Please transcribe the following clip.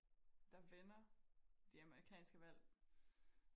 der vinder det amerikanske valg